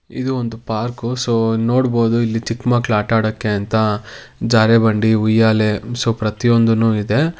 ಇದು ಒಂದು ಪಾರ್ಕು ನೋಡಬಹುದು ಸೊ ಇಲ್ಲಿ ನೋಡಬಹುದು ಇಲ್ಲಿ ಚಿಕ್ಕ ಮಕ್ಕಳು ಆಟ ಆಡೋಕೆ ಅಂತ ಜಾರ ಬಂಡಿ ಉಯ್ಯಾಲೆ ಸೋ ಪ್ರತಿಯೊಂದು ಇದೆ.